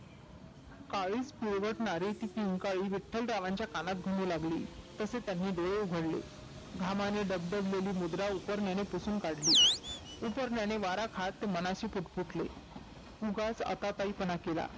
काळीज पिळवटणारी किंकाळी विठ्ठलरावांच्या कानात घुमू लागली. तसे त्यांनी डोळे उघडले घामानी डबडबलेली मुद्रा उपरण्यानी पुसून काढली. उपरण्याने वारा खात मनाशी पुटपूटले, उगाच आताताई पणा केला.